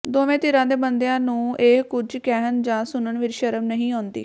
ਦੋਵੇਂ ਧਿਰਾਂ ਦੇ ਬੰਦਿਆਂ ਨੂੰ ਇਹ ਕੁਝ ਕਹਿਣ ਜਾਂ ਸੁਣਨ ਵਿੱਚ ਸ਼ਰਮ ਨਹੀਂ ਆਉਂਦੀ